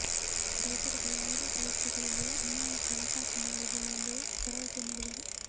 ರೈತರಿಗೆ ಯಾವುದೆ ಪರಿಸ್ಥಿತಿಯಲ್ಲಿ ಅನ್ಯಾಯಕ್ಕೆ ಅವಕಾಶ ಮಾಡುವುದಿಲ್ಲ ಎಂದು ಭರವಸೆ ನೀಡಿದರು